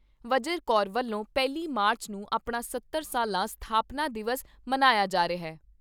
ਵਜਰ ਕੌਰ ਵੱਲੋਂ ਪਹਿਲੀ ਮਾਰਚ ਨੂੰ ਆਪਣਾ ਸੱਤਰ ਸਾਲਾ ਸਥਾਪਨਾ ਦਿਵਸ ਮਨਾਇਆ ਜਾ ਰਿਹਾ।